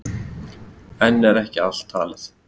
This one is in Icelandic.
Enn er ekki allt talið.